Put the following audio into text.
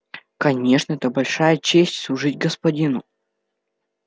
конечно это большая честь служить господину